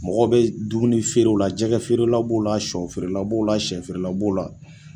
Mɔgɔ bɛ dumunifeere la jɛgɛfeerela b'o la sɔfeerela b'o la sɛfeerela b'o la